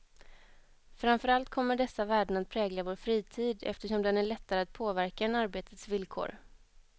Framför allt kommer dessa värden att prägla vår fritid, eftersom den är lättare att påverka än arbetets villkor.